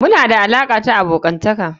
muna da alaƙa ta abokansa.